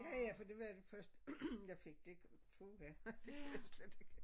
Ja ja fordi det var den første jeg fik det puha det kunne jeg slet ikke have